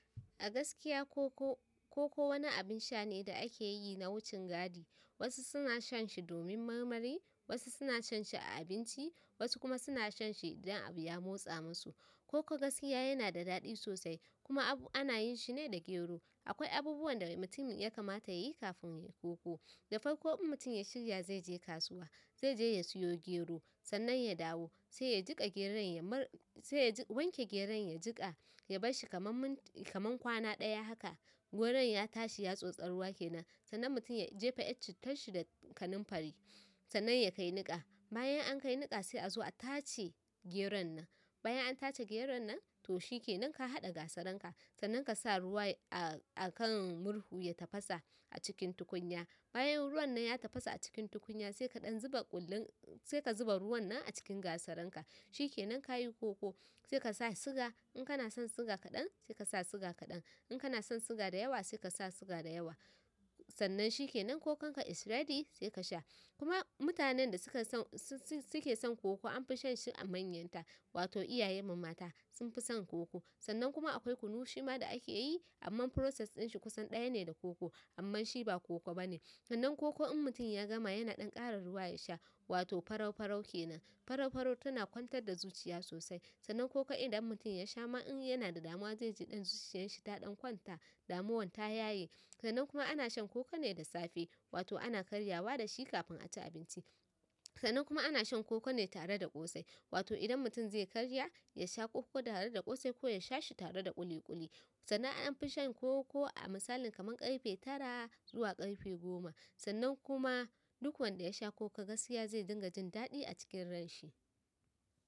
A gaskiya koko, koko wani abin sha ne da ake yi na wucin gadi. Wasu suna shan shi domin marmari, wasu suna shan shi a abinci, wasu kuma suna shan shi don abu ya motsa musu. Koko gaskiya yana da daɗi sosai kuma ana yin shi ne da gero. Akwai abubuwan da mutum ya kamata yayi kafin koko da farko in mutum ya shirya zai je kasuwa, zai je ya siyo gero, sannan ya dawo, sai ya wanke geron ya jiƙa, ya bar shi kamar kwana ɗaya haka. Geron ya tashi ya sotse ruwa kenan sanan mutum ya jefa yar cittan shi da kananfari sanan ya kai nika bayan an kai niƙa sai a zo a tace geron nan. Bayan an tace geron nan, to shi ke nan ka haɗa gasaranka, sannan ka sa ruwa a kan murhu ya tafasa a cikin tukunya. Bayan ruwan nan ya tafasa a cikin tukunya sai ka zuba ruwan nan a cikin gasaranka. Shi ke nan ka yi koko, sai ka sa siga. In kana son siga kaɗan, sai ka sa siga kaɗan. In kana son siga da yawa, sai ka sa siga da yawa. Sannan shi ke nan kokonka is ready sai ka sha. Kuma mutanen da suke son koko an fi shan shi a manyanta, wato iyaye mu mata sun fi son koko. Sannan kuma akwai kunu shi ma da ake yi, amma process ɗin shi kusan ɗaya ne da koko, amma shi ba koko ba ne. Sannan koko in mutum ya gama yana dan ƙara ruwa ya sha wato faraufarau kenan farau-farau tana kwantar da zuciya sosai. Sannan koko idan mutum ya sha ma in yana da damuwa zai ji ɗan zuciyarsa ta ɗan kwanta, damuwan ta yaye. Sannan kuma ana shan koko ne da safe, wato ana karyawa da shi kafin a ci abinci. Sannan kuma ana shan koko ne tare da ƙosai. Wato idan mutum zai karya, ya sha koko tare da ƙosai ko ya sha shi tare da ƙuli ƙuli. Sannan an fi shan koko a misalin kamar ƙarfe tara zuwa ƙarfe goma. Sannan kuma duk wanda ya sha koko gaskiya zai dinga jin daɗi a cikin ranshi.